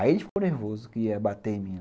Aí ele ficou nervoso que ia bater em mim.